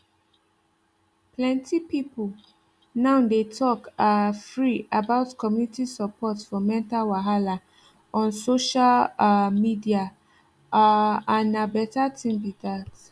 plenty people now dey talk um free about community support for mental wahala on social um media um and na better thing be that